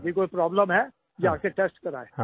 किसी को कोई प्रोब्लेम है जा के टेस्ट करायें